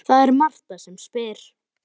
Það er Marta sem spyr.